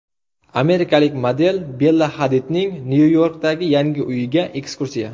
Amerikalik model Bella Hadidning Nyu-Yorkdagi yangi uyiga ekskursiya .